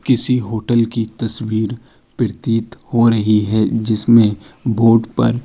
किसी होटल की तस्वीर प्रतीत हो रही है। जिसमे बोर्ड पर --